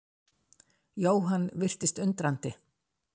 Jóhann virtist undrandi.